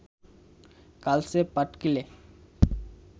কালচে পাটকিলে